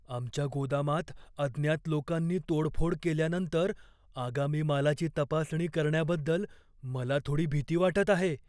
आमच्या गोदामात अज्ञात लोकांनी तोडफोड केल्यानंतर आगामी मालाची तपासणी करण्याबद्दल मला थोडी भीती वाटत आहे.